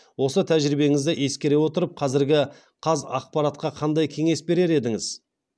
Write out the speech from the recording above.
осы тәжірибеңізді ескере отырып қазіргі қазақпаратқа қандай кеңес берер едіңіз